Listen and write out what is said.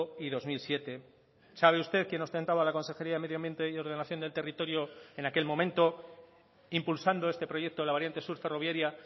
y dos mil siete sabe usted quién ostentaba la consejería de medio ambiente y ordenación del territorio en aquel momento impulsando este proyecto de la variante sur ferroviaria